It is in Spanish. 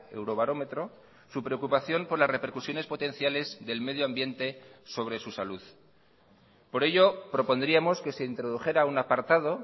eurobarómetro su preocupación por las repercusiones potenciales del medio ambiente sobre su salud por ello propondríamos que se introdujera un apartado